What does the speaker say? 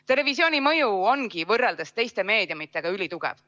Televisiooni mõju ongi võrreldes teiste meediumidega ülitugev.